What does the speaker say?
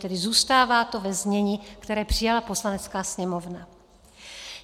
Tedy zůstává to ve znění, které přijala Poslanecká sněmovna.